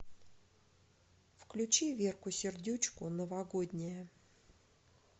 включи верку сердючку новогодняя